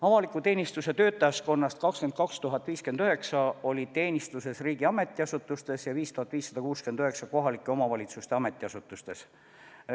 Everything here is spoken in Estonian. Avaliku teenistuse töötajaskonnast 22 059 oli teenistuses riigi ametiasutustes ja 5569 kohalike omavalitsuste ametiasutustes.